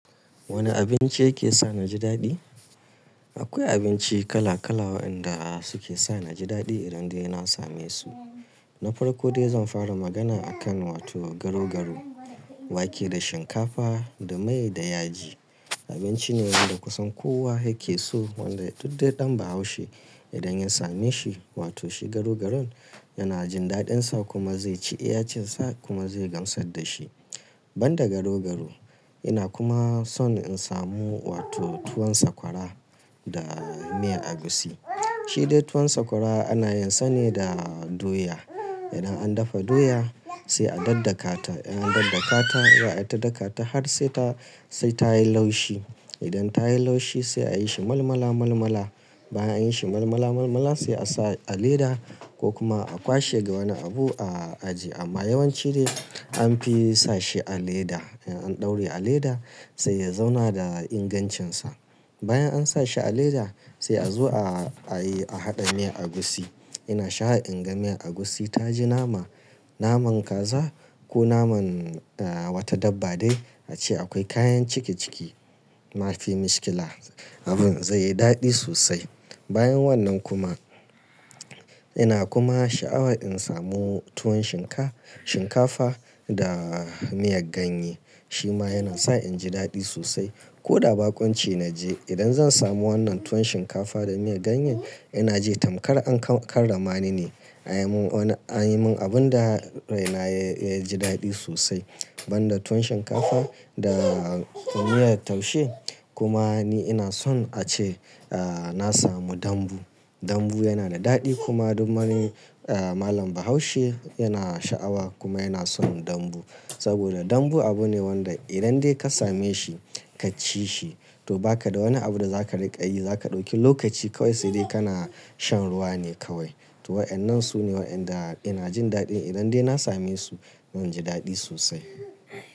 Wane abinci yake sa na ji daɗi? Akwai abinci kala-kala waɗanda suke sa na ji daɗi idan dai na same su. Na farko dai zan fara magana akan wato garau-garau, wake da shinkafa da mai da yaji. Abinci ne wanda kusan kowa yake so wanda duk dai ɗan Bahaushe idan ya same shi, wato shi garau-garaun yana jin daɗinsa kuma zai ci iya cin sa kuma zai gamsar da shi. Ban da garau-garau, ina kuma son in samu wato tuwon Sakwara da miyar Agusi. Shi dai tuwon Sakwara ana yin sa ne da doya. Idan an dafa doya sai a daddakata. Idan an daddakata, za'ai ta daka ta har sai ta, sai ta yi laushi. Idan ta yi laushi sai a yi shi malmala- malmala. Bayan an yi shi malmala-malmala sai a sa a leda ko kuma a kwashe ga wani abu a ajiye. Amma yawanci dai an fi sa shi a leda. Idan an ɗaureva leda sai ya zauna da ingancinsa. Bayan an sa shi a leda sai a zo a a yi, a haɗa miyar agusi. Ina sha'awar in ga miyar Agusi ta ji nama, naman kaza ko naman, ah, wata dabba dai ace akwai kayan ciki-ciki. Mafi mishkila. Abin zai yi daɗi sosai. Bayan wannan kuma ina kuma sha'awa in samu tuwon shinka-shinkafa da miyar ganye. Shi ma yana sa in ji daɗi sosai. Ko da baƙon ci na je idan zan samu wannan tuwon shinkafa da miyar ganyen ina ji tamkar an karramani ne. An yi mun wani, an yi min abun da rai na ya ji daɗi sosai. Ban da tuwon shinkafa da miyar taushe kuma ni ina son a ce, ah, na samu dambu. Dambu yana da daɗi kuma duk man, ah, Malam Bahaushe yana sha'awa kuma yana son dambu. Saboda dambu abu ne wanda idan dai ka same shi ka ci shi to ba ka da wani abu da za ka riƙa yi. Za ka ɗauki lokaci kawai sai dai kana shan ruwa ne kawai. To wa'ennan su ne wa'inda ina jin daɗi idan dai na same su zan ji daɗi sosai.